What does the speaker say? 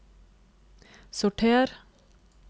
sorter